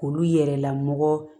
Olu yɛrɛla mɔgɔ